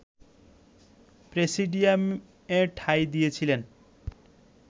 প্রেসিডিয়ামে ঠাঁই দিয়েছিলেন